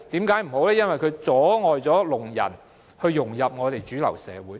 因為這樣會阻礙聾人融入主流社會。